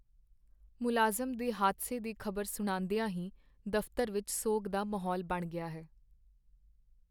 ਮੁਲਾਜ਼ਮ ਦੇ ਹਾਦਸੇ ਦੀ ਖ਼ਬਰ ਸੁਣਦੀਆਂ ਹੀ ਦਫ਼ਤਰ ਵਿੱਚ ਸੋਗ ਦਾ ਮਾਹੌਲ ਬਣ ਗਿਆ ਹੈ।